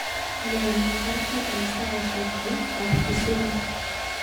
Nee nemakerkei eng saishekab yu ak Kisumu